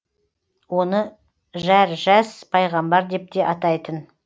оны жәржәс пайғамбар деп те атайтын